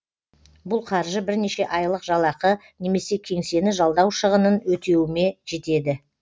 бұл қаржы бірнеше айлық жалақы немесе кеңсені жалдау шығынын өтеуіме жетеді